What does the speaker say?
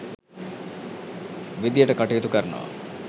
විදියට කටයුතු කරනවා.